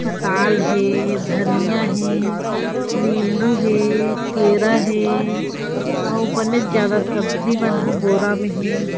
पताल हे धनिया हे नीबू हे केरा हे अउ बने ज्यादा सब्जी मन ह बोरा में हे।